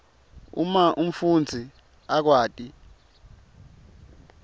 uma umfundzi akwati